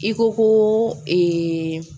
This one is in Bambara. I ko ko ee